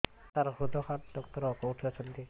ସାର ହୃଦଘାତ ଡକ୍ଟର କେଉଁଠି ଅଛନ୍ତି